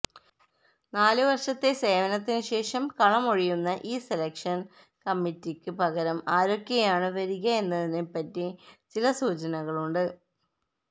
നാലു വർഷത്തെ സേവനത്തിനു ശേഷം കളമൊഴിയുന്ന ഈ സെലക്ഷൻ കമ്മറ്റിക്ക് പകരം ആരൊക്കെയാണ് വരിക എന്നതിനെപ്പറ്റി ചില സൂചനകളുണ്ട്